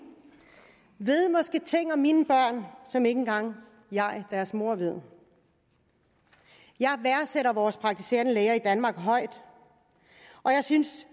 ved måske ting om mine børn som ikke engang jeg deres mor ved jeg værdsætter vores praktiserende læger i danmark højt og jeg synes